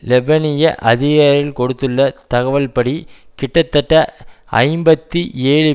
லெபனிய அதிகாரிகள் கொடுத்துள்ள தகவல்படி கிட்டத்தட்ட ஐம்பத்தி ஏழு